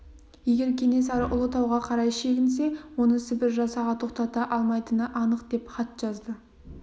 егер кенесары ұлытауға қарай шегінсе оны сібір жасағы тоқтата алмайтыны анық деп хат жазды